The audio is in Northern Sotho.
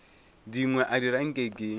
dingwe a dira nke ke